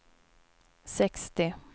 sextio